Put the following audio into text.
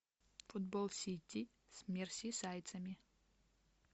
футбол сити с мерсисайдцами